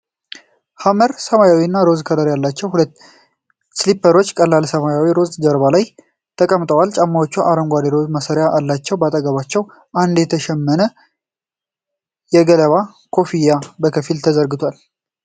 ሐመር ሰማያዊና ሮዝ ከለር ያላቸው ሁለት ስሊፐሮች በቀላል ሰማያዊና ሮዝ ጀርባ ላይ ተቀምጠዋል። ጫማዎቹ አረንጓዴና ሮዝ ማሰሪያዎች አሏቸው። በአጠገባቸው አንድ የተሸመነ የገለባ ኮፍያ በከፊል ተዘርግቷል።